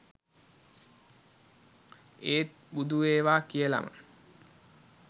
ඒත් බුදු වේවා කියලම